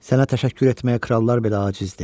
Sənə təşəkkür etməyə krallar belə acizdir.